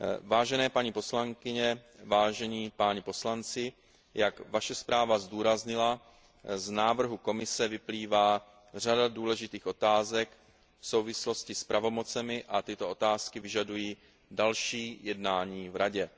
Vážené paní poslankyně, vážení poslanci, jak vaše zpráva zdůraznila, z návrhu Komise vyplývá řada důležitých otázek v souvislosti s pravomocemi a tyto otázky vyžadují další jednání v Radě.